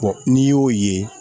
n'i y'o ye